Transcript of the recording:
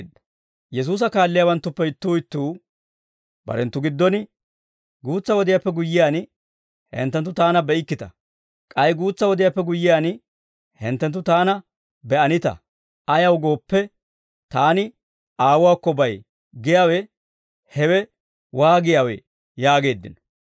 Yesuusa kaaliyaawanttuppe ittuu ittuu barenttu giddon, « ‹Guutsa wodiyaappe guyyiyaan, hinttenttu Taana be'ikkita; k'ay guutsa wodiyaappe guyyiyaan, hinttenttu Taana be'anita; ayaw gooppe, Taani Aawuwaakko bay› giyaawe hewe waagiyaawee?» yaageeddino.